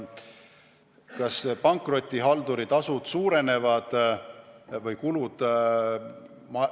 Kas pankrotihalduri tasud suurenevad või kulud?